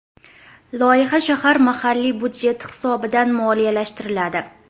Loyiha shahar mahalliy byudjeti hisobidan moliyalashtiriladi.